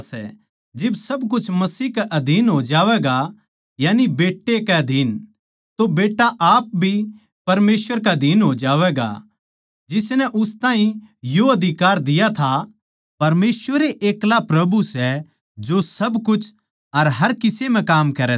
जिब सब कुछ मसीह कै अधीन हो जावैगा यानी बेट्टे के अधीन तो बेट्टा आप भी परमेसवर के अधीन हो जावैगा जिसनै उस ताहीं यो अधिकार दिया था परमेसवर ए अकेल्ला प्रभु सै जो सब कुछ अर हर किसे म्ह काम करै सै